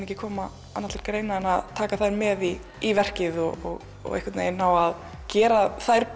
ekki koma annað til greina en að taka þær með í í verkið og einhvern veginn ná að gera þær